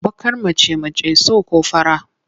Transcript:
Baƙar mace mace so ko fara?